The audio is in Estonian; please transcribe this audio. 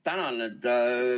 Tänan!